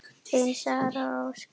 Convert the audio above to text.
Þín Sara Rós.